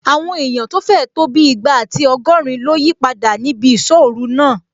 Àwọn èèyàn tó fẹ̀ tó bí ìgbà àti ọgọ́rin ló yípadà níbi ìsọ́-ọ̀ru náà